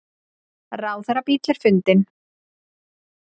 Ráðherrabíll er fundinn